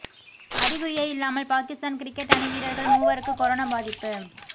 அறிகுறியே இல்லாமல் பாகிஸ்தான் கிரிக்கெட் அணி வீரர்கள் மூவருக்கு கொரோனா பாதிப்பு